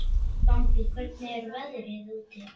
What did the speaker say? Bambi, hvernig er veðrið úti?